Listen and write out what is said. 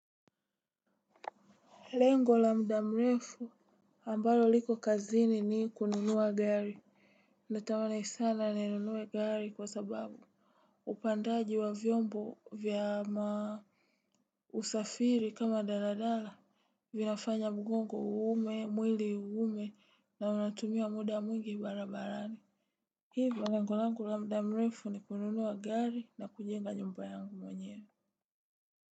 Lengo lamda mrefu ambalo liko kazini ni kununua gari. Natamani sana ni nunue gari kwa sababu upandaji wa vyombo vya ma. Usafiri kama daladala. Vinafanya mugongo uhume mwili uhume na unatumia muda mwingi barabarani. Hivyo lengo lamda mrefu ni kununua gari na kujenga nyumba yangu mwenyewe.